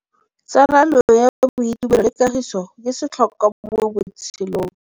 Tsalano ya boitumelo le kagiso ke setlhôkwa mo botshelong.